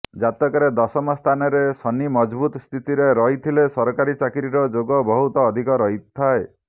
ଜାତକରେ ଦଶମ ସ୍ଥାନରେ ଶନି ମଜବୁତ ସ୍ଥିତିରେ ରହିଥିଲେ ସରକାରୀ ଚାକିରିର ଯୋଗ ବହୁତ ଅଧିକ ରହିଥାଏ